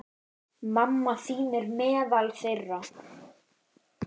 Mamma þín er meðal þeirra.